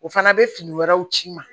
O fana bɛ fini wɛrɛw ci n ma